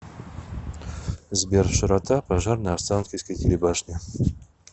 сбер широта пожар на останкинской телебашне